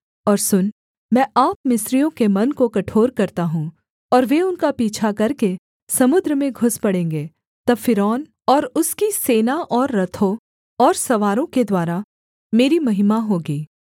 और सुन मैं आप मिस्रियों के मन को कठोर करता हूँ और वे उनका पीछा करके समुद्र में घुस पड़ेंगे तब फ़िरौन और उसकी सेना और रथों और सवारों के द्वारा मेरी महिमा होगी